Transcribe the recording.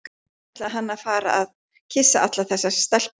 Ekki ætlaði hann að fara að kyssa allar þessar stelpur.